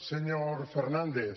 señor fernàndez